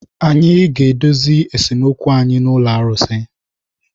Anyị ga-edozi esemokwu anyị na ụlọ arụsị.